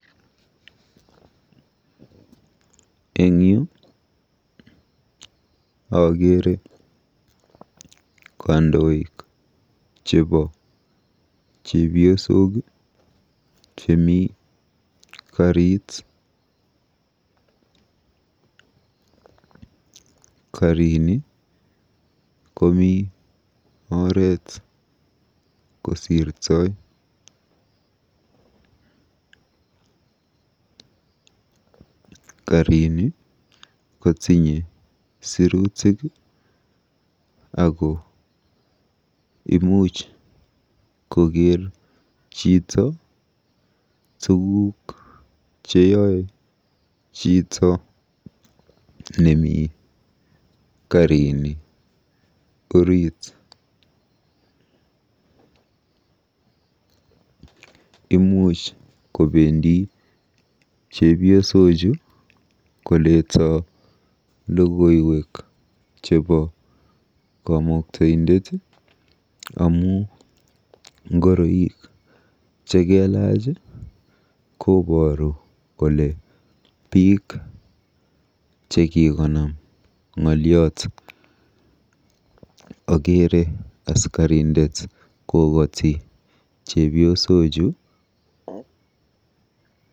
Eng yu akeere kandoik chebo chebiosok chemi karit. Karini komi oret kosirtoi. Karini kotinye sirutik ako imuch koker chito tuguk cheyoe chito nemi karini orit. Imuch kobendi chepiosochu koleto logoiwek chebo kamuktaindet amu ngoroik cheiloji kobooru kole biik chekikonam ng'oliot. Okeere askarindet kokoti chepyosochu.